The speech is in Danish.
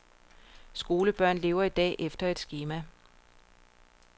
Skolebørn lever i dag efter et skema.